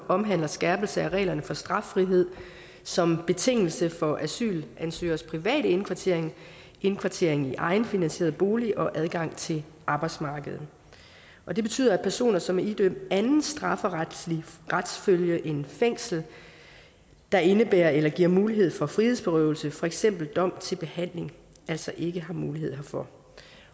omhandler skærpelse af reglerne for straffrihed som betingelse for asylansøgeres private indkvartering indkvartering i egenfinansieret bolig og adgang til arbejdsmarkedet og det betyder at personer som er idømt anden strafferetslig retsfølge end fængsel der indebærer eller giver mulighed for frihedsberøvelse for eksempel dom til behandling altså ikke har mulighed herfor